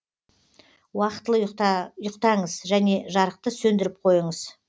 уақытылы ұйықтаңыз және жарықты сөндіріп қойыңыз